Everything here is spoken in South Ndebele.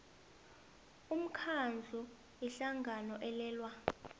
umkhandlu ihlangano elwela